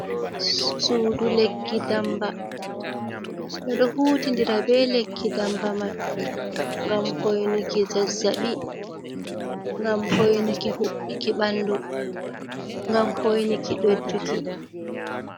Suudu lekki damba, ɓe ɗo hutidira be lekki damba man ngam hoinuki zazzaɓi, ngam hoinuki huɓɓuki ɓandu, ngam hoinuki ɗojjuki.